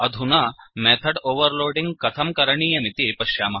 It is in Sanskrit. अधुना मेथड् ओवर्लोडिङ्ग् कथं करणीयमिति पश्यामः